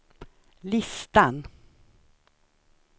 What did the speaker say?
listan